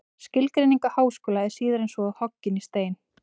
Skilgreining á háskóla er síður en svo hoggin í stein.